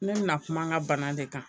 Ne bɛna kuma an ka bana de kan